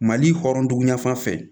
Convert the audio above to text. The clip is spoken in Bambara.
Mali hɔrɔndugan fan fɛ